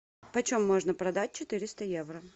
почем можно продать четыреста евро